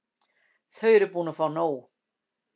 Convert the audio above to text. Þau eru búin að fá nóg.